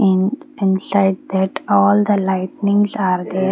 umm and inside that all the lightnings are there.